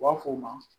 U b'a f'o ma